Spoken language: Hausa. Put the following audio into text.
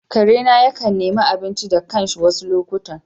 Karena yakan nemi abinci da kanshi wasu lokutan.